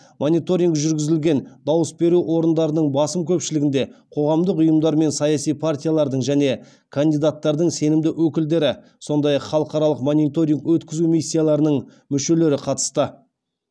мониторинг жүргізілген дауыс беру орындарының басым көпшілігінде қоғамдық ұйымдар мен саяси партиялардың және кандидаттардың сенімді өкілдері сондай ақ халықаралық мониторинг өткізу миссияларының мүшелері қатысты